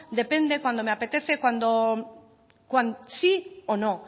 depende cuando me apetece sí o no